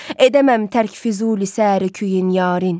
Edəməm tərk Füzuli saəri küyün yarın.